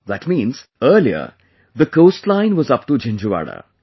That means, earlier the coastline was up to Jinjhuwada